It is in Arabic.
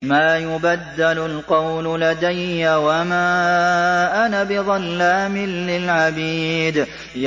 مَا يُبَدَّلُ الْقَوْلُ لَدَيَّ وَمَا أَنَا بِظَلَّامٍ لِّلْعَبِيدِ